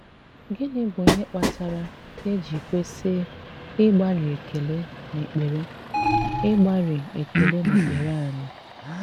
Gịnị bụ̀ ihe kpatara e ji kwesị ịgbàrị́ ekele n’èkpere ịgbàrị́ ekele n’èkpere anyị?